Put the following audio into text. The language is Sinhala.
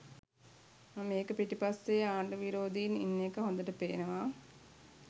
මේක පිටිපස්සේ ආණ්ඩු විරෝදීන් ඉන්න එක හොදට පේනවා